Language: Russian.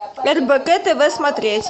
рбк тв смотреть